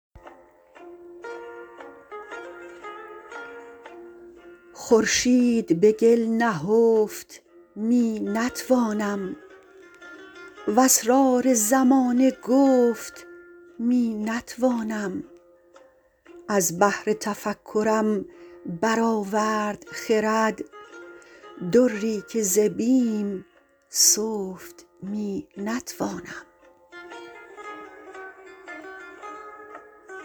خورشید به گل نهفت می نتوانم و اسرار زمانه گفت می نتوانم از بحر تفکرم برآورد خرد دری که ز بیم سفت می نتوانم